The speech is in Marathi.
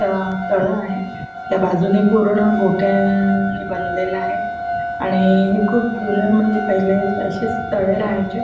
अ तळ आहे त्या बाजूनी पूर्ण गोटया णी बांधलेलं आहे आणि हे खूप जूने म्हणजे पहिले असेच तळे राहायचे.